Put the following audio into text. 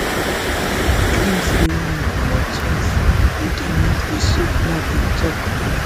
e claim say women go born twins if dem use di soap nafdac tok